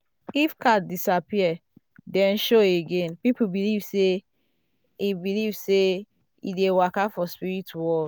if cat disappear then show again people believe say e believe say e dey waka for spirit world.